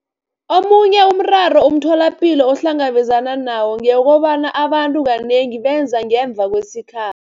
Omunye umraro umtholapilo ohlangabezana nawo ngewokobana abantu kanengi beza ngemva kwesikha